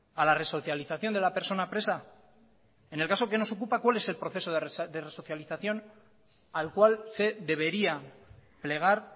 a la resocialización de la persona presa en el caso que nos ocupa cuál es proceso de resocialización al cual se debería plegar